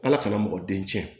Ala kana mɔgɔ den tiɲɛ